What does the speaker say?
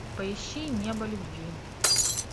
поищи небо любви